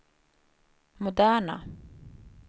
moderna